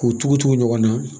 K'u tugu tugu ɲɔgɔn na